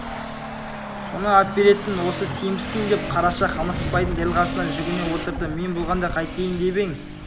соны әперетін осы сенбісің деп қараша қамысбайдың дәл қасына жүгіне отырды мен болғанда қайтейін деп ең